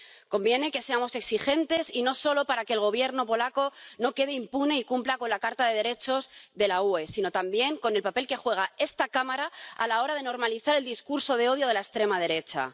Conviene que seamos exigentes, y no solo para que el Gobierno polaco no quede impune y cumpla con la Carta de los Derechos Fundamentales de la UE, sino también con el papel que juega esta Cámara a la hora de normalizar el discurso de odio de la extrema derecha.